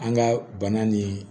An ka bana nin